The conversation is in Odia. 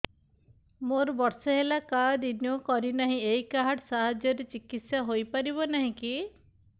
ମୋର ବର୍ଷେ ହେଲା କାର୍ଡ ରିନିଓ କରିନାହିଁ ଏହି କାର୍ଡ ସାହାଯ୍ୟରେ ଚିକିସୟା ହୈ ପାରିବନାହିଁ କି